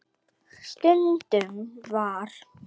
Stundum var